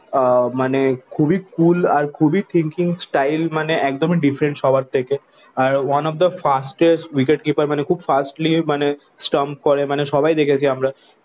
আহ মানে খুবই কুল আর খুবই thinking style মানে একদমই ডিফারেন্স সবার থেকে। আর One of the fastest wicket keeper মানে খুব ফাস্টলি মানে স্ট্যাম্প করে মানে সবাই দেখেছি আমরা।